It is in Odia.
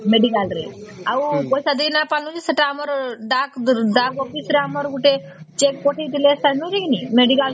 medical ରେ ଆଉ ପଇସା ନାଇଁ ଦେଇଲୁ ସେଟା ଆମର ଡାକ ଡାକ voice ରେ ଗୋଟେ cheque ପଠେଇଥିଲେ କି ନାଇଁ medical ର